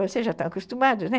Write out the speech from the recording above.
Você já está acostumado, né?